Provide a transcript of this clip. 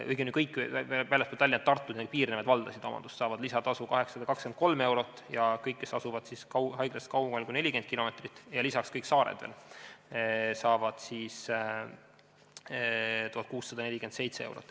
Õigemini kõik väljaspool Tallinna-Tartut ja nendega piirnevaid valdasid saavad lisatasu 823 eurot ja kõik, kes asuvad haiglast kaugemal kui 40 kilomeetrit ja lisaks kõik saared saavad 1647 eurot.